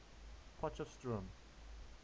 potchefstroom